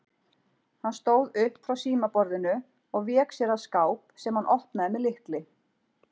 Hann stóð upp frá símaborðinu og vék sér að skáp sem hann opnaði með lykli.